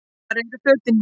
Hvar eru fötin mín?